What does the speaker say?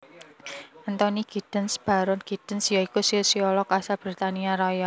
Anthony Giddens Baron Giddens ya iku sosiolog asal Britania Raya